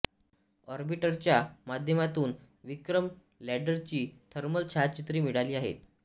ऑर्बिटरच्या माध्यमातून विक्रम लॅंडरची थर्मल छायाचित्रे मिळाली आहेत